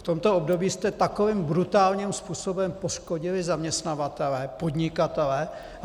V tomto období jste takovým brutálním způsobem poškodili zaměstnavatele, podnikatele.